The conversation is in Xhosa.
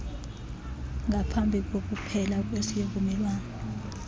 ngaphambi kokuphela kwesivumelwano